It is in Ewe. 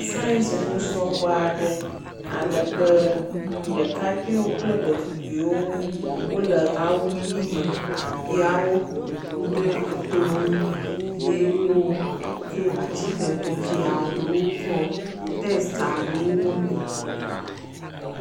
Science ŋusrɔƒeaɖe alebe ɖekakpiwo kple ɖetugbiwo wóle awu ɣi me ya wó ƒoƒoƒu ɖe ekplɔ̃ ŋu ye woko atsike tɔxeaɖewo kɔ testaɖewo wɔmee